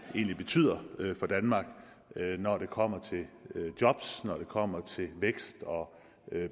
egentlig betyder for danmark når det kommer til jobs når det kommer til vækst og